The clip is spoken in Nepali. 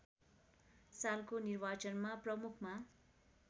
सालको निर्वाचनमा प्रमुखमा